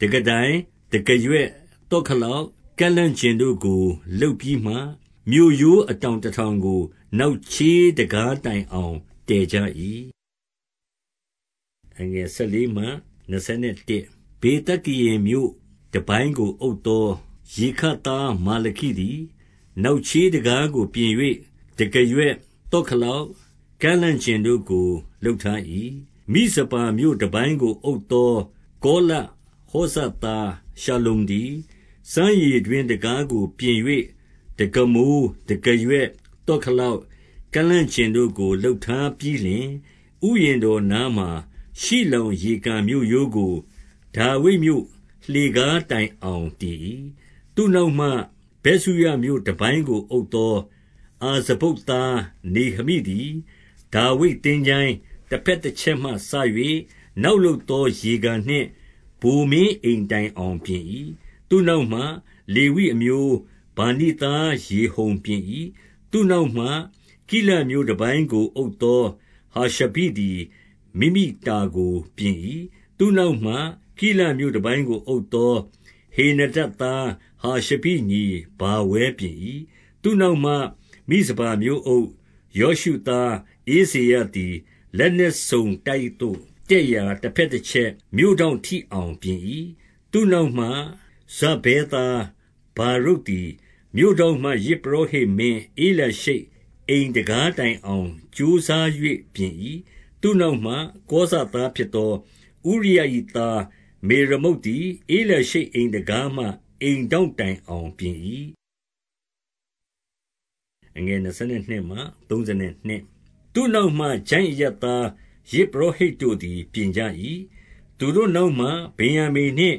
တံခါးတိုင်၊ တံခါးရွက်၊ သော့ခလောက်၊ ကန့်လန့်ကျင်တို့ကို လုပ်ပြီးမှ၊ မြို့ရိုးအတောင်တထောင်ကို နောက်ချေးတံခါးတိုင်အောင် တည်ကြ၏။ 14 ဗေသက္ကရင်မြို့တပိုင်းကို အုပ်သောရေခပ်သား မာလခိသည်၊ နောက်ချေးတံခါးကို ပြင်၍ တံခါးရွက်၊ သော့ခလောက်၊ ကန့်လန့်ကျင်တို့ကို လုပ်ထား၏။ 15 မိဇပါမြို့တပိုင်းကို အုပ်သော ကောလဟောဇ သား ရှလ္လုံသည် စမ်းရေတွင်းတံခါးကိုပြင်၍ တံခါးမိုး၊ တံခါးရွက်၊ သော့ခလောက်၊ ကန့်လန့်ကျင်တို့ကို လုပ်ထား ပြီးလျှင်၊ ဥယျာဉ်တော်နားမှာ၊ ရှိလောင်ရေကန်မြို့ရိုးကို၊ ဒါဝိဒ်မြို့လှေကားတိုင်အောင်တည်၏။ 16 သူ့နောက်မှ ဗက်ဇုရမြို့တပိုင်းကို အုပ်သော အာဇဗုတ်သား နေဟမိသည်၊ ဒါဝိဒ်သင်္ချိုင်းတဘက် တချက်မှစ၍၊ နောက်လုပ်သော ရေကန်နှင့် ဗိုလ်မင်း အိမ်တိုင်အောင် ပြင်၏။ 17 သူ့နောက်မှ၊ လေဝိအမျိုး ဗာနိသား ရေဟုံပြင် ၏။ သူ့နောက်မှ၊ ကိလမြို့တပိုင်းကို အုပ်သော ဟာရှဘိ သည် မိမိတာကိုပြင်၏။ 18 သူ့နောက်မှ၊ ကိလမြို့တပိုင်းကို အုပ်သော ဟေနဒဒ်သား ဟာရှဘိညီဗာဝဲပြင်၏။ 19 သူ့နောက်မှ၊ မိဇပါမြို့အုပ် ယောရှုသား ဧဇေရ သည်၊ လက်နက်စုံတိုက်သို့တက်ရာ တဘက်တချက်၊ မြို့ထောင့်ထိအောင် ပြင်၏။ 20 သူ့နောက်မှ၊ ဇဗ္ဗဲသား ဗာရုတ်သည် မြို့ထောင့်မှ ယဇ်ပုရောဟိတ်မင်း ဧလျာရှိပ်အိမ်တံခါးတိုင်အောင် ကြိုးစား၍ ပြင်၏။ 21 သူ့နောက်မှ၊ ကောဇသားဖြစ်သော ဥရိယ၏ သား မေရမုတ်သည်၊ ဧလျာရှိပ် အိမ်တံခါးမှ အိမ်ထောင့် တိုင်အောင်ပြင်၏။ 22 သူ့နောက်မှ၊ ချိုင့်အရပ်သား ယဇ်ပုရောဟိတ် တို့သည် ပြင်ကြ၏။ 23 သူတို့နောက်မှ၊ ဗင်္ယာမိန်နှင့်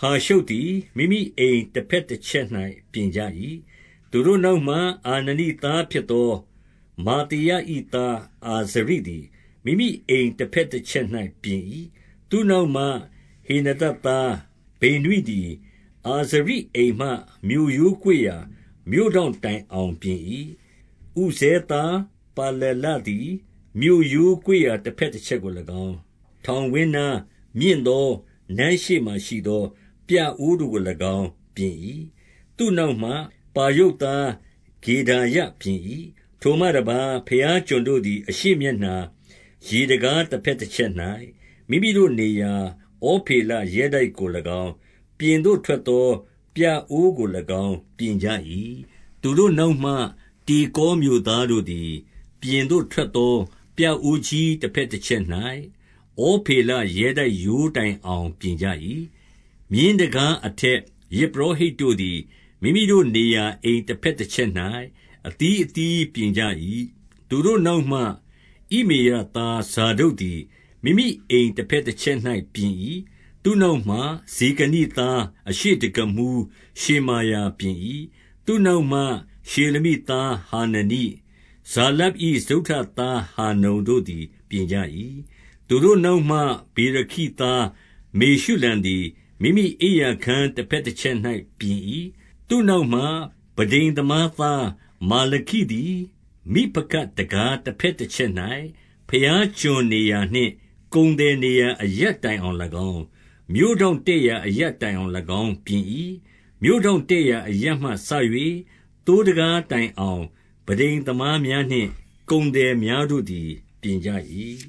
ဟာရှုပ်သည် မိမိအိမ် တဘက်တချက်၌ပြင်ကြ၏။ သူတို့နောက်မှ၊ အာနနိသားဖြစ်သော မာသေယ၏သား အာဇရိသည် မိမိအိမ် တဘက်တချက်၌ ပြင်၏။ 24 သူ့နောက်မှ၊ ဟေနဒဒ်သား ဗိနွိသည်၊ အာဇရိ အိမ်မှ မြို့ရိုးကွေ့ရာ မြို့ထောင့်တိုင်အောင်ပြင်၏။ 25 ဥဇဲသားပါလလသည် မြို့ရိုးကွေ့ရာ တဘက် တချက်ကို၎င်း၊ ထောင်ဝင်းနား၊ မြင့်သောနန်းရှေ့မှာ ရှိသော ပြအိုးကို၎င်း ပြင်၏။ သူ့နောက်မှ၊ ပါရုပ်သား ဂေဒါယပြင်၏။ 26 ထိုမှတပါး၊ ဘုရားကျွန်တို့သည် အရှေ့မျက်နှာ၊ ရေတံခါး တဘက်တချက်၌၊ မိမိတို့နေရာဩဖေလ ရဲတိုက်ကို၎င်း၊ ပြင်သို့ထွက်သော ပြအိုးကို၎င်း ပြင်ကြ၏။ 27 သူတို့နောက်မှ၊ တေကောမြို့သားတို့သည် ပြင်သို့ထွက်သော ပြအိုးကြီး တဘက်တချက်၌၊ ဩဖေလ ရဲတိုက်ရိုးတိုင်အောင် ပြင်ကြ၏။ 28 မြင်းတံခါးအထက်၊ ယဇ်ပုရောဟိတ်တို့သည်၊ မိမိတို့နေရာအိမ် တဘက်တချက်၌ အသီးအသီးပြင်ကြ ၏။ 29 သူတို့နောက်မှ၊ ဣမေရသား ဇာဒုတ်သည် မိမိအိမ် တဘက်တချက်၌ ပြင်၏။ သူ့နောက်မှ၊ ရှေကနို သား၊ အရှေ့တံခါးမှူး ရှေမာယ ပြင်၏။ 30 သူ့နောက်မှ၊ ရှေလမိသား ဟာနနိ၊ ဇာလပ်၏ စတုတ္ထသား ဟာနုန်တို့သည်ပြင်ကြ၏။ သူတို့နောက်မှ၊ ဗေရခိသား မေရှုလံသည် မိမိအိပ်ရာခန်းတဘက် တချက်၌ ပြင်၏။ 31 သူ့နောက်မှ၊ ပန်းတိမ်သမားသား မာလခိသည် မိဖကဒ်တံခါး တဘက်တချက်၌၊ ဘုရားကျွန်နေရာနှင့် ကုန်သည်နေရာ အရပ်တိုင်အောင်၎င်း၊ မြို့ထောင့်တက် ရာအရပ်တိုင်အောင်၎င်းပြင်၏။ 32 မြို့ထောင့်တက်ရာအရပ်မှစ၍၊ သိုးတံခါးတိုင်အောင် ပန်းတိမ်သမား များနှင့် ကုန်သည်များ တို့သည်ပြင်ကြ၏။